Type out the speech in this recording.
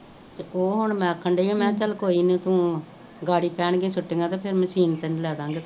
ਤੇ ਉਹ ਹੁਣ ਮੈਂ ਆਖਣ ਡਈ ਆ ਮੇਹਾ ਚਲ ਕੋਈ ਨੀ ਤੂੰ ਛੁੱਟੀਆਂ ਤੇ ਫੇਰ ਮਸ਼ੀਨ ਤੈਨੂੰ ਲੈ ਦਾ ਗੇ